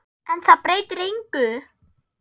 En það breytir engu.